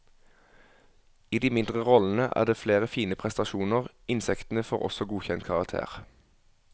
I de mindre rollene er det flere fine prestasjoner, insektene får også godkjent karakter.